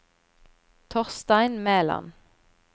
Torstein Mæland